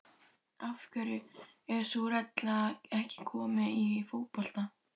Af hverju er sú regla ekki komin í fótbolta?